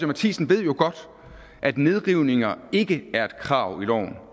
matthisen ved jo godt at nedrivninger ikke er et krav i loven